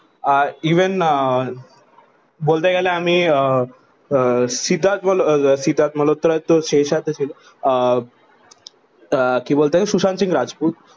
আর ইভেন আহ বলতে গেলে আমি আহ আহ সিদ্ধার্থ মাল সিদ্ধার্থ মালহোত্রস তো শের শাহ তে ছিল আহ আহ কি বলতে গেলে সুশান্ত সিং রাজপূত